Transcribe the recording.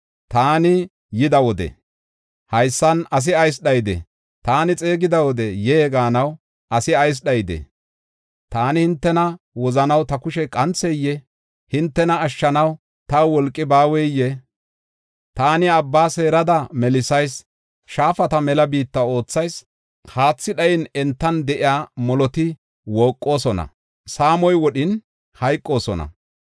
Taani yida wode, haysan asi ayis dhayidee? Taani xeegida wode, ‘Yee!’ gaanaw ayis asi dhayidee? Taani hintena wozanaw ta kushey qantheyee? hintena ashshanaw taw wolqi baaweyee? Taani abba seerada melisayis; shaafata mela biitta oothayis. Haathi dhayin entan de7iya moloti wooqosona; saamoy wodhin hayqoosona.